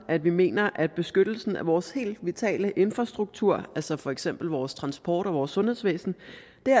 at vi mener at beskyttelsen af vores helt vitale infrastruktur altså for eksempel vores transport og vores sundhedsvæsen